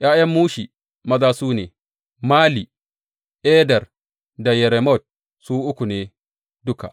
’Ya’yan Mushi maza su ne, Mali, Eder da Yeremot, su uku ne duka.